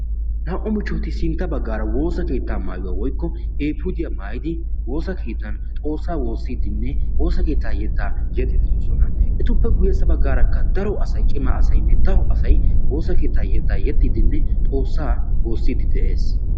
Naa'u mochchoti sintta baggaara woosa keettaa maayuwa woykko eefuudiya maayidi woosa keettan Xoossaa woossiiddinne woosa keettaa yettaa yexxiiddi doosona. Etuppe guyyessa baggaarakka daro asayi cima asaynne daro asayi woosa keettaa yettaa yexxiiddinne xoossaa woossiiddi de"es.